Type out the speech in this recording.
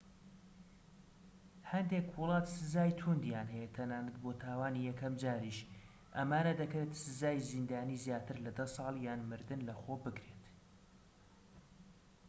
هەندێک وڵات سزای تووندیان هەیە تەنانەت بۆ تاوانی یەکەم جاریش ئەمانە دەکرێت سزای زیندانی زیاتر لە 10 ساڵ یان مردن لەخۆ بگرێت